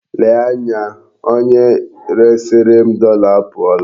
Lee anya, onye resiri m dọla apụọla.